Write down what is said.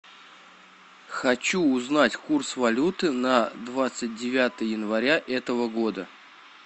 хочу узнать курс валюты на двадцать девятое января этого года